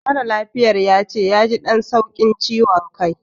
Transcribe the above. Mara lafiyar yace yaji ɗan sauƙin ciwan kai